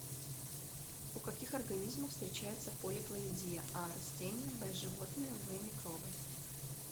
у каких организмов встречается полиплоидия а растения б животные в микробы